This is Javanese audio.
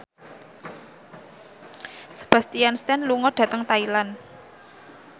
Sebastian Stan lunga dhateng Thailand